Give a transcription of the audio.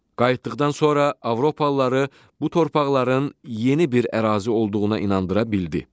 Qayıtdıqdan sonra Avropalıları bu torpaqların yeni bir ərazi olduğuna inandıra bildi.